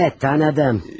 Hə, hə, tanıdım.